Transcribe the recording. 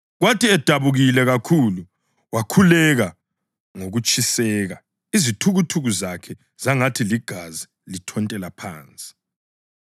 Kwathi edabukile kakhulu, wakhuleka ngokutshiseka, izithukuthuku zakhe zangathi ligazi lithontela phansi.